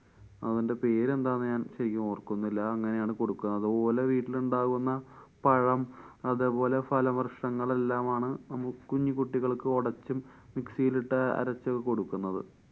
അതിന്‍ടെ പേരെന്താണെന്നു ഞാന്‍ ശരിക്ക് ഓര്‍ക്കുന്നില്ല. ആ അങ്ങനെയാണ് കൊടുക്കുക. അത്പോലെ വീട്ടിലുണ്ടാകുന്ന പഴം, അതേപോലെ ഫലവൃക്ഷങ്ങള്‍ എല്ലാമാണ് നമ്മു കുഞ്ഞി കുട്ടികള്‍ക്ക് ഒടച്ചും mixie യില്‍ ഇട്ട് അരച്ചും ഒക്കെ കൊടുക്കുന്നത്.